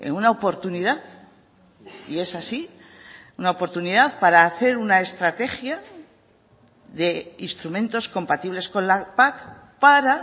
una oportunidad y es así una oportunidad para hacer una estrategia de instrumentos compatibles con la pac para